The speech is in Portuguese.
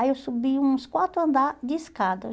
Aí eu subi uns quatro andar de escada.